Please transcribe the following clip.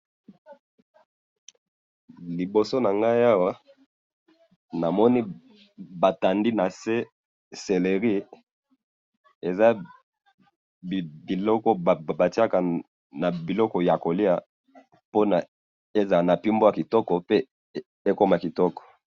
Liboso na ngayi Awa, namoni batandi na se céleris, eza biloko batiaka na biloko ya kolia pona ezala na pimbo ya kitoko pe ekoma kitoko.